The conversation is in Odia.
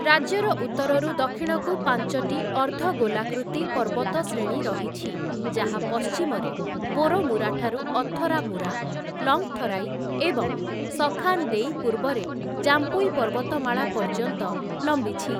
ରାଜ୍ୟର ଉତ୍ତରରୁ ଦକ୍ଷିଣକୁ ପାଞ୍ଚଟି ଅର୍ଦ୍ଧଗୋଲାକୃତି ପର୍ବତଶ୍ରେଣୀ ରହିଛି, ଯାହା ପଶ୍ଚିମରେ ବୋରୋମୁରାଠାରୁ ଅଥରାମୁରା, ଲଙ୍ଗ୍‌ଥରାଇ ଏବଂ ସଖାନ୍ ଦେଇ ପୂର୍ବରେ ଜାମ୍ପୁଇ ପର୍ବତମାଳା ପର୍ଯ୍ୟନ୍ତ ଲମ୍ବିଛି ।